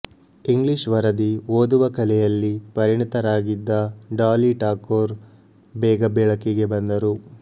English ವರದಿ ಓದುವ ಕಲೆಯಲ್ಲಿ ಪರಿಣಿತರಾಗಿದ್ದ ಡಾಲಿ ಠಾಕೋರ್ ಬೇಗ ಬೆಳಕಿಗೆ ಬಂದರು